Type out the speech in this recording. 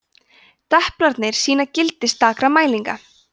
deplarnir sýna gildi stakra mælinga